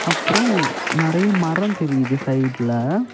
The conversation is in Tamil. அப்புறம் நறைய மரம் தெரியுது சைடுல .